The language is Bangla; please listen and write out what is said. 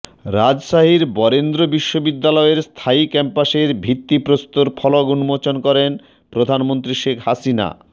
রাজশাহীর বরেন্দ্র বিশ্ববিদ্যালয়ের স্থায়ী ক্যাম্পাসের ভিত্তিপ্রস্তর ফলক উন্মোচন করেন প্রধানমন্ত্রী শেখ হাসিনা